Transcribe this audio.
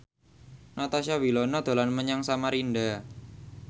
Natasha Wilona dolan menyang Samarinda